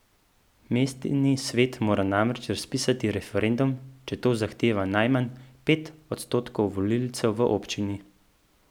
Mestni svet mora namreč razpisati referendum, če to zahteva najmanj pet odstotkov volivcev v občini.